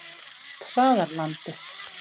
Traðarlandi